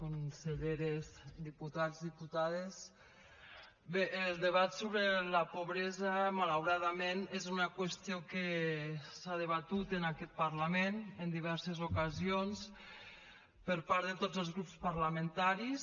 conselleres diputats diputades bé el debat sobre la pobresa malauradament és una qüestió que s’ha debatut en aquest parlament en diverses ocasions per part de tots els grups parlamentaris